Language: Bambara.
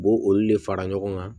U b'o olu de fara ɲɔgɔn kan